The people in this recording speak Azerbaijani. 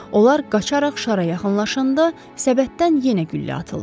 Onlar qaçaraq şara yaxınlaşanda səbətdən yenə güllə atıldı.